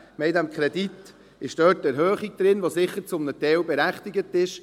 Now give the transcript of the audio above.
In diesem Kredit ist eine Erhöhung enthalten, die zum Teil sicher berechtigt ist.